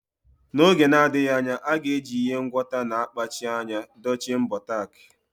N’oge na-adịghị anya, a ga-eji ihe ngwọta na-akpachi anya dochie mbọ tack.